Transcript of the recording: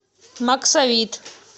максавит